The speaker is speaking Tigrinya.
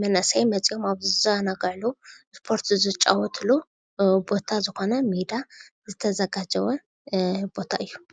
መንእሰይ መፅዮም ኣብ ዝዛናግዕሉ እስፖርት ዝጫወትሉ ቦታ ዝኾነ ሜዳ ዝተዘጋጀወ ቦታ እዩ፡፡